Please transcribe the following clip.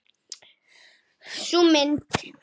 Sú mynd.